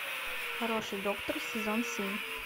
хороший доктор сезон семь